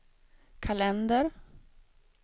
kalender